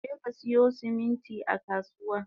Jeka siyo siminti a kasuwa!